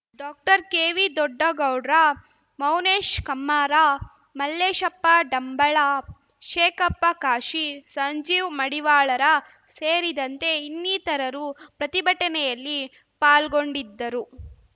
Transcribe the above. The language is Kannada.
ಡಾಕ್ಟರ್ಕೆವಿದೊಡ್ಡಗೌಡ್ರ ಮೌನೇಶ್ ಕಮ್ಮಾರ ಮಲ್ಲೇಶಪ್ಪ ಡಂಬಳ ಶೇಖಪ್ಪ ಕಾಶಿ ಸಂಜೀವ್ ಮಡಿವಾಳರ ಸೇರಿದಂತೆ ಇನ್ನಿತರರು ಪ್ರತಿಭಟನೆಯಲ್ಲಿ ಪಾಲ್ಗೊಂಡಿದ್ದರು